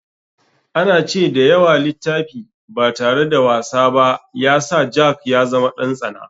An ce da yawa littafi ba tare da wasa ba ya sa jack ya zama ɗan tsana.